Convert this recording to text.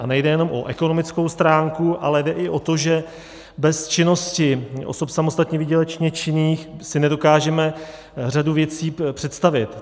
A nejde jenom o ekonomickou stránku, ale jde i o to, že bez činnosti osob samostatně výdělečně činných si nedokážeme řadu věcí představit.